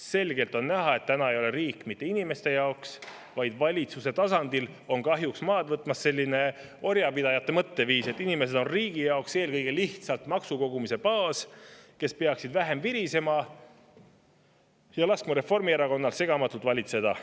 Selgelt on näha, et täna ei ole riik mitte inimeste jaoks, vaid valitsuse tasandil on kahjuks maad võtmas orjapidajate mõtteviis, et inimesed on riigi jaoks eelkõige lihtsalt maksukogumise baas, nad peaksid vähem virisema ja laskma Reformierakonnal segamatult valitseda.